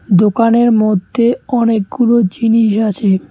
দোকানের মধ্যে অনেকগুলো জিনিস আছে।